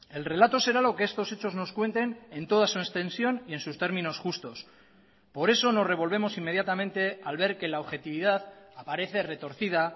el relato será lo que estos hechos nos cuenten en toda su extensión y en sus términos justos por eso nos revolvemos inmediatamente al ver que la objetividad aparece retorcida